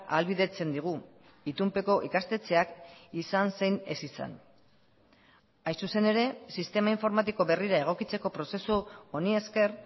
ahalbidetzen digu itunpeko ikastetxeak izan zein ez izan hain zuzen ere sistema informatiko berrira egokitzeko prozesu honi esker